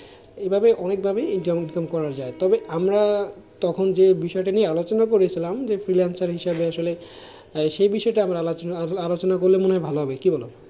এভাবে অনেক ভাবে তবে আমরা তখন যে বিষয়টা নিয়ে আলোচনা করেছিলাম যে freelancer হিসেবে আসলে সে বিষয়টা আলোচনা করলে মনেহয় ভালো হবে, কি বলো?